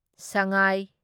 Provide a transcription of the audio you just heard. ꯁꯉꯥꯢ